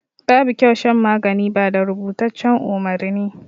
Babu kyau shan magani ba da rubutaccen umarni.